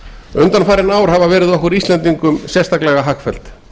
undanfarin ár hafa verið okkur íslendingum sérstaklega hagfelld